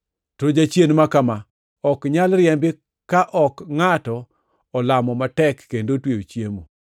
To jachien ma kama ok nyal riembi ka ok ngʼato olamo matek kendo otweyo chiemo.]” + 17:21 Loko moko machon mag Muma kata joneno moko machon ne ok ondiko \+xt Mat 17:21\+xt*.